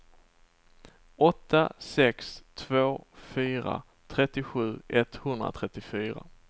åtta sex två fyra trettiosju etthundratrettiofyra